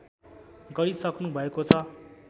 गरिसक्नु भएको छ